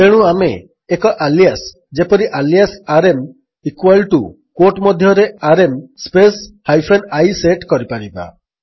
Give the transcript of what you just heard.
ତେଣୁ ଆମେ ଏକ ଆଲିଆସ୍ ଯେପରି alias RM equal to quote ମଧ୍ୟରେ RM space hyphen i set କରିପାରିବା